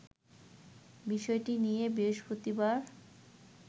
বিষয়টি নিয়ে বৃহস্পতিবার